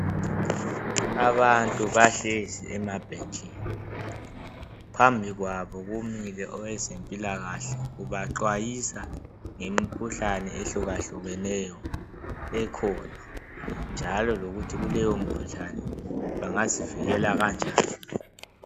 Abantu bahlezi emabhentshini phambikwabo kumile owezempilakahle ubaxwayisa ngemikhuhlane ehlukahlukeneyo ekhona. Njalo lokuthi kuleyo mkhuhlane bengazivikela kanjani.